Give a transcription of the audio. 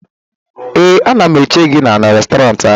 ee, a na m eche gị n'Restọrantị ahụ